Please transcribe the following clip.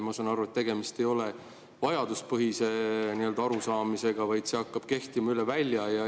Ma saan aru, et tegemist ei ole vajaduspõhise arusaamisega, vaid see hakkab kehtima üle välja.